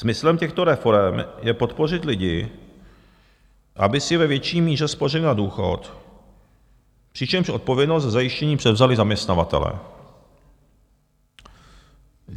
Smyslem těchto reforem je podpořit lidi, aby si ve větší míře spořili na důchod, přičemž odpovědnost za zajištění převzali zaměstnavatelé.